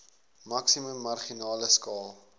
maksimum marginale skaal